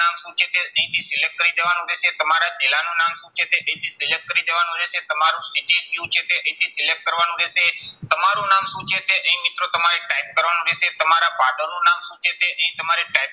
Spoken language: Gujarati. શું છે તે અહીંથી select કરી દેવાનું રહેશે. તમારા જિલ્લાનું નામ શું છે તે અહીંથી select કરી દેવાનું રહેશે. તમારું city ક્યુ છે તે અહીંથી select કરવાનું રહેશે. તમારું નામ શું છે તે અહીં મિત્રો તમારે type કરવાનું રહેશે. તમારા father નું નામ શું છે તે અહીં તમારે type